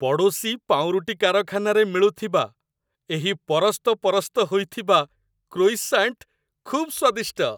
ପଡ଼ୋଶୀ ପାଉଁରୁଟି କାରଖାନାରେ ମିଳୁଥିବା ଏହି ପରସ୍ତପରସ୍ତ ହୋଇଥିବା କ୍ରୋଇସାଣ୍ଟ ଖୁବ୍ ସ୍ୱାଦିଷ୍ଟ।